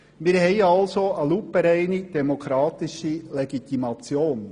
Wir haben also eine lupenreine demokratische Legitimation.